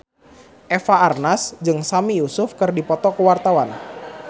Eva Arnaz jeung Sami Yusuf keur dipoto ku wartawan